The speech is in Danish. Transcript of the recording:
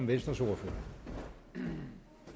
vedtagelse vil